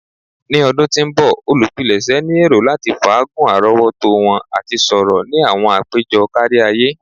Ni ọdun ti n bọ, olupilẹṣẹ ni ero lati faagun arọwọto wọn ati sọrọ ni awọn apejọ kariaye.